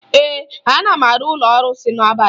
Ee, agara m n'ụlọ arụsị n'abalị